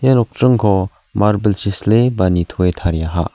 ia nokdringko marble-chi sile ba nitoe tariaha.